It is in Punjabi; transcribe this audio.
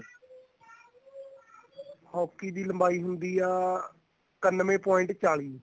hockey ਦੀ ਲੰਬਾਈ ਹੁੰਦੀ ਆ ਇਕਾਨਵੇ point ਚਾਲੀ